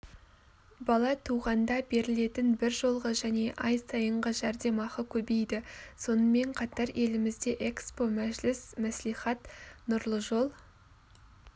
бала туғанда берілетін біржолғы және ай сайынғы жәрдемақы көбейді сонымен қатар елімізде экспо мәжіліс мәслихат нұрлыжол